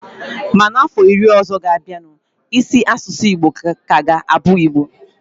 Ma na ọfọ iri ọzọ ga-abianu, isi asụsụ Igbo ka ga-abụ Igbo